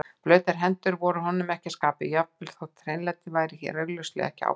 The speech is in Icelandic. Blautar hendur voru honum ekki að skapi, jafnvel þótt hreinlæti væri hér augljóslega ekki ábótavant.